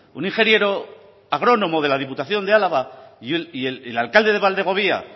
un ingeniero agrónomo de la diputación de álava y el alcalde de valdegovía